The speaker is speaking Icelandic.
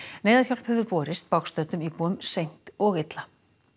neyðarhjálp hefur borist bágstöddum íbúum seint og illa